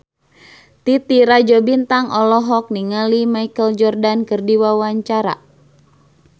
Titi Rajo Bintang olohok ningali Michael Jordan keur diwawancara